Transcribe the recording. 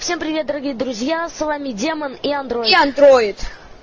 всем привет дорогие друзья с вами демон и андроид и андроид